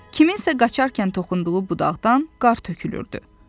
Kimsənin qaçarkən toxunduğu budaqdan qar tökülürdü.